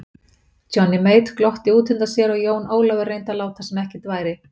Johnny Mate glotti útundan sér og Jón Ólafur reyndi að láta sem ekkert væri.